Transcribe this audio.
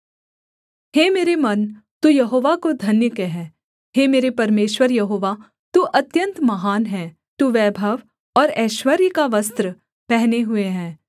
हे मेरे मन तू यहोवा को धन्य कह हे मेरे परमेश्वर यहोवा तू अत्यन्त महान है तू वैभव और ऐश्वर्य का वस्त्र पहने हुए है